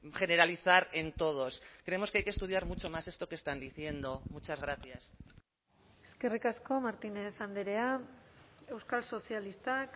generalizar en todos creemos que hay que estudiar mucho más esto que están diciendo muchas gracias eskerrik asko martínez andrea euskal sozialistak